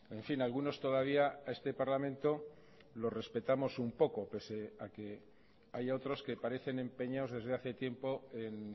en fin algunos todavía a este parlamento lo respetamos un poco pese a que haya otros que parecen empeñados desde hace tiempo en